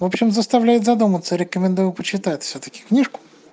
в общем заставляет задуматься рекомендую почитать всё-таки книжку